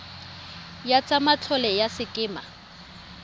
ya tsa matlole ya sekema